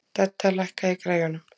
Dedda, lækkaðu í græjunum.